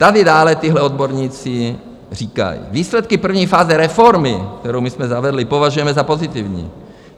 Tady dále tito odborníci říkají: "Výsledky první fáze reformy, kterou my jsme zavedli, považujeme za pozitivní.